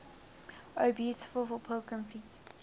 o beautiful for pilgrim feet